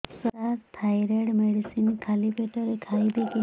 ସାର thyroid medicine ଖାଲି ପେଟରେ ଖାଇବି କି